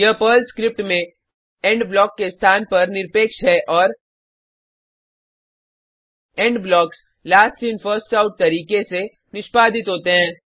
यह Perl script में end block के स्थान का निरपेक्ष है और end blocks last in first out तरीके से निष्पादित होते हैं